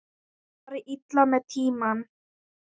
Fari illa með tímann.